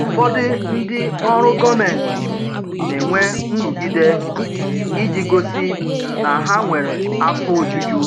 Ụfọdụ ndị ọrụ gọmenti na-enwe nrụgide iji gosi na ha nwere afọ ojuju